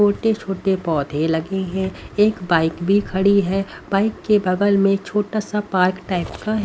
छोटे-छोटे पौधे लगे हैं एक बाइक भी खड़ी है बाइक के बगल में छोटा सा पार्क टाइप का हैं।